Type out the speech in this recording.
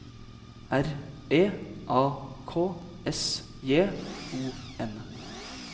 R E A K S J O N